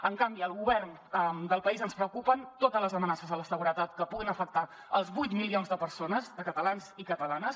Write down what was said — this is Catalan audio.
en canvi al govern del país ens preocupen totes les amenaces a la seguretat que puguin afectar els vuit milions de persones de catalans i catalanes